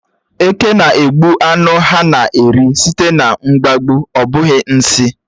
Eke na-egbu ánụ ha na-eri sìté na mkpagbu, ọ bụghị nsị.